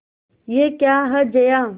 यह क्या है जया